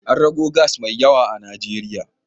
An gano gas mai yawa a Najeriya.